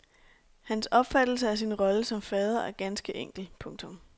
Hans opfattelse af sin rolle som fader er ganske enkel. punktum